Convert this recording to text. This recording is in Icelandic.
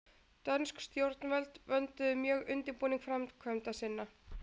Dönsk stjórnvöld vönduðu mjög undirbúning framkvæmda sinna.